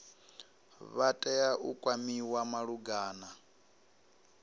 vha tea u kwamiwa malugana